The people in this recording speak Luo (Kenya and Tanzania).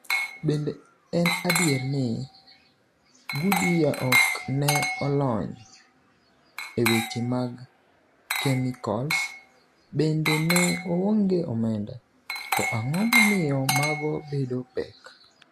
Bende en adier ni, Goodyear ok ne olony e weche mag kemikols, bende ne oonge omenda, to ang’o momiyo mago bedo pek?